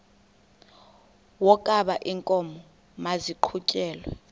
wokaba iinkomo maziqhutyelwe